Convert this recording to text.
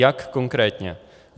Jak konkrétně?